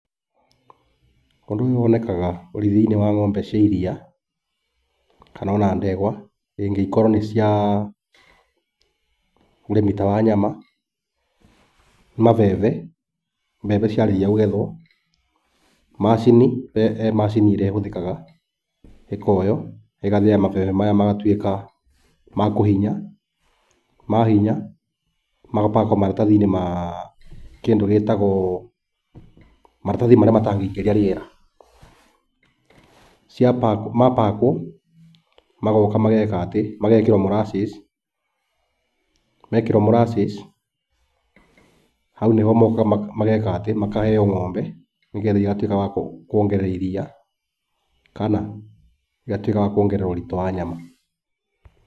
Ũndũ ũyũ wonekaga ũrĩithi-inĩ wa ng'ombe cia iria, kana ona ndegwa rĩngĩ ikorwo nĩ cia ũrĩmi ta wa nyama, mabebe, mbembe ciarĩkia kũgethwo, macini he macini iria ihũthĩkaga, ikoywo, igathĩa mabebe maya magatuĩka ma kũhinya. Mahinya, maga pack wo maratathi-inĩ ma kĩndũ gĩtagwo, maratathi marĩa matangĩingĩria rĩera, ma pack wo magoka magekĩrwo molasses. Mekĩrwo molasses, hau nĩho mokaga makaheyo ng'ombe, nĩgetha igatuĩka cia kuongerera iria, kana igatuĩka cia kuongerera ũritũ wa nyama.